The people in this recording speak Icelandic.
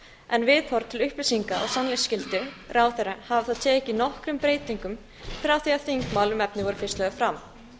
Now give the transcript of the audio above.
en viðhorf til upplýsinga og sannleiksskyldu ráðherra hafa tekið nokkrum breytingum frá því að þingmál um efnið voru fyrst lögð fram